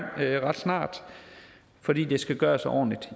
fordi det skal gøres ordentligt